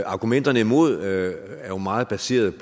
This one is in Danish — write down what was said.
argumenterne imod er jo meget baseret